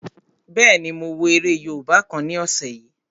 Bẹ́ẹ̀ni, mo wo eré yóòbá kan ní ọ̀sẹ̀ yìí